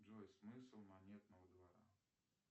джой смысл монетного двора